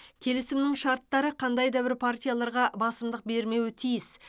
келісімнің шарттары қандай да бір партияларға басымдық бермеуі тиіс